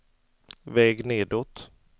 väg nedåt